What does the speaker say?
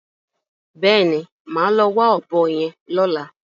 Bẹ́ẹ̀ni, màá lọ wá ọ̀bọ yẹn lọ́la.